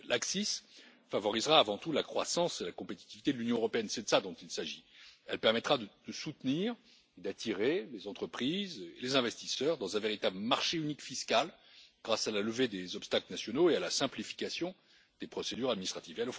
L'ACCIS favorisera avant tout la croissance et la compétitivité de l'Union européenne, c'est de cela qu'il s'agit. Elle permettra de soutenir et d'attirer les entreprises et les investisseurs dans un véritable marché unique fiscal grâce à la levée des obstacles nationaux et à la simplification des procédures administratives.